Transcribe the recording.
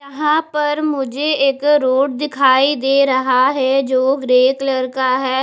यहां पर मुझे एक रोड दिखाई दे रहा है जो ग्रे कलर का है।